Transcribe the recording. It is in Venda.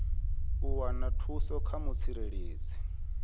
u wana thuso kha mutsireledzi